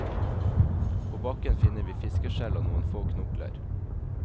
På bakken finner vi fiskeskjell og noen få knokler.